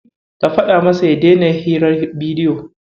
Ka faɗa masa ya daina hirar bidiyo.